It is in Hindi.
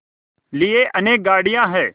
लिए अनेक गाड़ियाँ हैं